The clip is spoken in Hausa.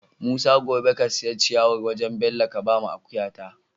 Musa gobe ka siya ciyawar wajan Bello ka bawa akuya ta